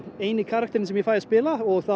eini karakterinn sem ég fæ að spila